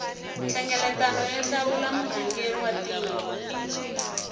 nhlengeletano yo hlawula murhangeri wa tiko